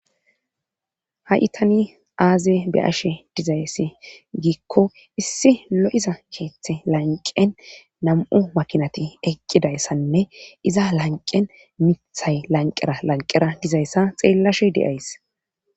ha7i tani aaze be'ashe dizayssi giikko issi lo7iza keeththe lanqen nam7u makinati eqqidayssanne iza lanqen mithay lanqera lanqera dizayssa xeellashe de7ays